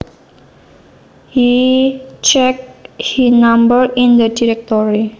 He checked he number in the directory